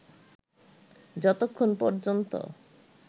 যতক্ষন পর্যন্ত